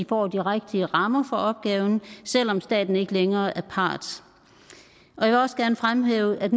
få de rigtige rammer for opgaven selv om staten ikke længere er part jeg vil også gerne fremhæve at